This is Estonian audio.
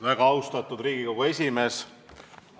Väga austatud Riigikogu esimees!